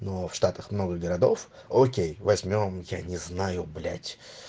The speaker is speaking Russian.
ну а в штатах много городов окей возьмём я не знаю блять